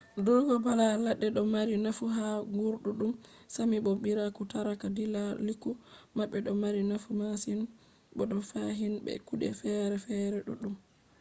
durugo bala ladde do mari nafu ha guurdudum sámi bo biiraku tarata dilaaliiku mabbe do mari nafu masin bo fahin be kude fere-fere duddum